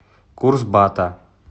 курс бата